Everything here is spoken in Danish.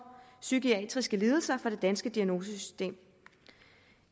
psykiatriske lidelser fra det danske diagnosesystem